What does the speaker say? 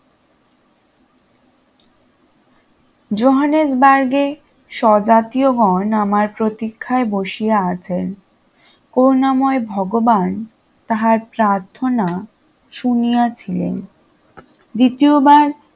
জোহানসবার্গে স্বজাতীয়গণ আমার প্রতিক্ষায় বসিয়া আছেন করুণাময় ভগবান তাহার প্রার্থনা শুনিয়াছিলেন দ্বিতীয়বার